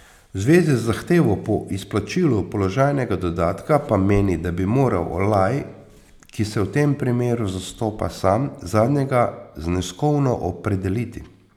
V zvezi z zahtevo po izplačilu položajnega dodatka pa meni, da bi moral Olaj, ki se v tem primeru zastopa sam, zadnjega zneskovno opredeliti.